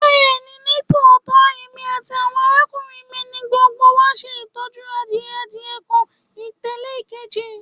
Bẹẹni, nitootọ emi ati awọn arakunrin mi ni gbogbo wa ṣe itọju adie adie kan tẹle ekeji